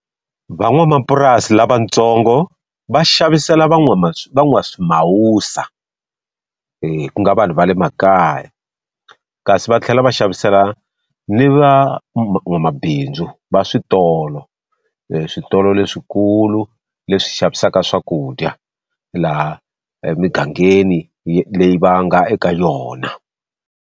Van'wamapurasi lavatsongo va xavisela van'waswimhawusa ku nga vanhu va le makaya. Kasi va tlhela va xavisela ni va n'wamabindzu va switolo, eswitolo leswikulu leswi xavisaka swakudya laha emugangeni leyi va nga eka yona.